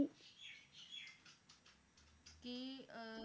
ਕੀ ਅਹ